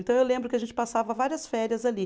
Então eu lembro que a gente passava várias férias ali.